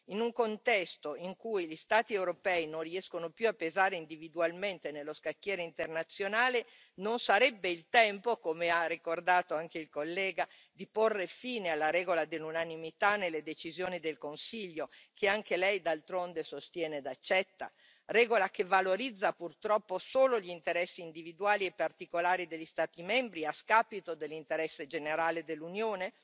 In un contesto in cui gli Stati europei non riescono più a pesare individualmente nello scacchiere internazionale, non sarebbe il tempo, come ha ricordato anche il collega, di porre fine alla regola dell'unanimità nelle decisioni del Consiglio, che anche Lei d'altronde sostiene ed accetta, regola che valorizza purtroppo solo gli interessi individuali e particolari degli Stati membri a scapito dell'interesse generale dell'Unione?